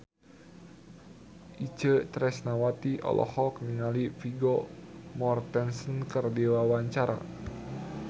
Itje Tresnawati olohok ningali Vigo Mortensen keur diwawancara